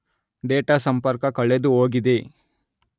data ಸಂಪರ್ಕ ಕಳೆದುಹೋಗಿದೆ